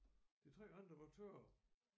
De 3 andre var tørre